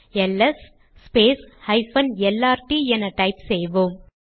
LS lrt என type செய்வோம்